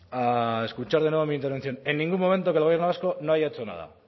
a escuchar de nuevo mi intervención en ningún momento que el gobierno vasco no haya hecho nada